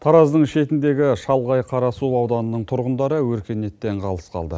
тараздың шетіндегі шалғай қарасу ауданының тұрғындары өркениеттен қалыс қалды